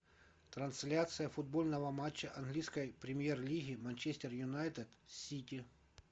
трансляция футбольного матча английской премьер лиги манчестер юнайтед сити